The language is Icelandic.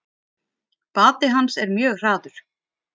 Bati hans er mjög hraður.